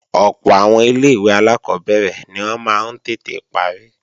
Ọ̀pọ̀ àwọn ilé-ìwé alákọ́bẹ̀rẹ̀ ni wọ́n máa ń tètè parí